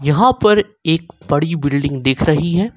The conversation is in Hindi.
यहां पर एक बड़ी बिल्डिंग दिख रही है।